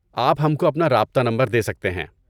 آپ ہم کو اپنا رابطہ نمبر دے سکتے ہیں۔